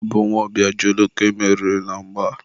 ọ bụ nwa Obiajulu ka e meriri na mgba.